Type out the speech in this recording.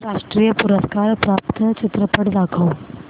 राष्ट्रीय पुरस्कार प्राप्त चित्रपट दाखव